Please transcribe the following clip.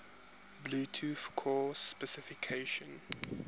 bluetooth core specification